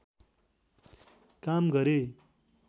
काम गरे